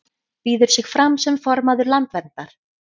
Býður sig fram sem formaður Landverndar